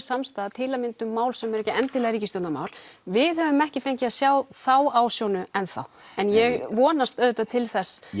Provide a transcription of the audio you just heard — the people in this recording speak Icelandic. samstaða til að mynda um mál sem eru ekki endilega ríkisstjórnarmál við höfum ekki fengið að sjá þá ásjónu enn þá en ég vonast auðvitað til þess